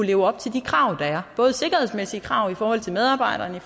leve op til de krav der er både sikkerhedsmæssige krav i forhold til medarbejderne